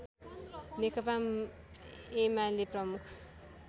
नेकपा एमाले प्रमुख